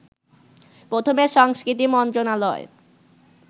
প্রথমে সংস্কৃতি মন্ত্রণালয়